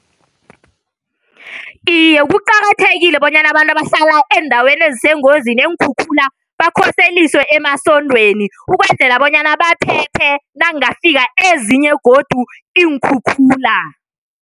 Iye, kuqakathekile bonyana abantu abahlala eendaweni ezisengozini yeenkhukhula bakhoseliswe emasontweni ukwenzela bonyana baphephe nakungafika ezinye godu iinkhukhula.